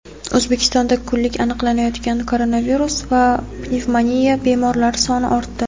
O‘zbekistonda kunlik aniqlanayotgan koronavirus va pnevmoniya bemorlari soni ortdi.